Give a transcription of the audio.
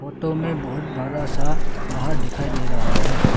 Photo मे बहोत बड़ा सा पहाड़ दिखाई दे रहा है।